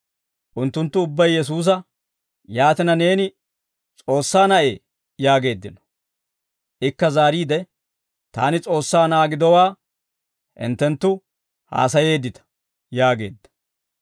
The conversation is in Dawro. Unttunttu ubbay Yesuusa, «Yaatina neeni S'oossaa Na'ee?» yaageeddino. Ikka zaariide, «Taani S'oossaa Na'aa gidowaa hinttenttu haasayeeddita» yaageedda.